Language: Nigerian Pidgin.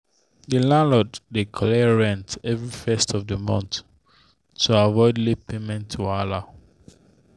the landlord dey collect rent every first of the month to avoid late payment wahala.